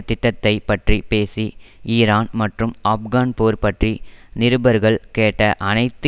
திட்டத்தை பற்றி பேசி ஈரான் மற்றும் ஆப்கான் போர் பற்றி நிருபர்கள் கேட்ட அனைத்து